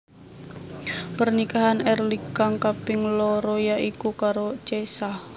Pernikahan Early kang kaping loro ya iku karo Cesa